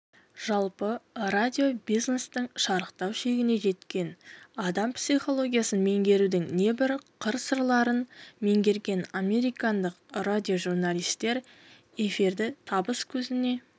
жалпы радио-бизнестің шарықтау шегіне жеткен адам психологиясын меңгерудің небір қыр-сырларын меңгерген американдық раидиожурналистер эфирді табыс көзіне